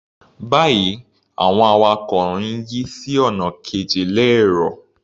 Báyìí, àwọn awakọ̀ ń yí sí ọ̀nà kejì lẹ́ẹ́rọ̀.